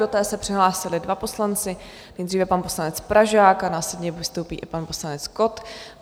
Do té se přihlásili dva poslanci - nejdříve pan poslanec Pražák a následně vystoupí i pan poslanec Kott.